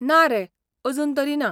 ना रे, अजून तरी ना